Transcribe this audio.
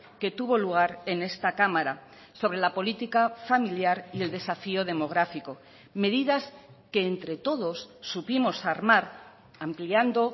que tuvo lugar en esta cámara sobre la política familiar y el desafío demográfico medidas que entre todos supimos armar ampliando